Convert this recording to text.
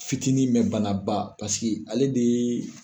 Fitinin mɛn banaba paseke ale de